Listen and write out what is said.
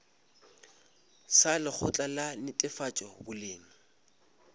sa lekgotla la netefatšo boleng